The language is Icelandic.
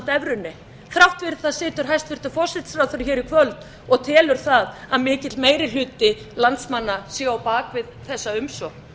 evrunni þrátt fyrir það situr hæstvirtur forsætisráðherra í kvöld og telur það að mikill meiri hluti landsmanna sé á bak við þessa umsókn